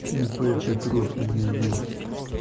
ип петров ею